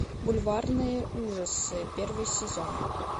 бульварные ужасы первый сезон